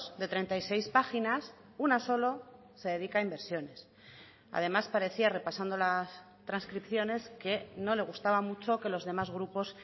de treinta y seis páginas una solo se dedica a inversiones además parecía repasando las transcripciones que no le gustaba mucho que los demás grupos